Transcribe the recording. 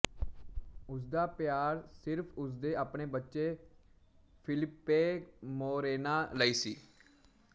ਉਸਦਾ ਪਿਆਰ ਸਿਰਫ ਉਸਦੇ ਆਪਣੇ ਬੱਚੇ ਫਿਲਿੱਪੇ ਮੋਰੇਨਾ ਲਈ ਸੀ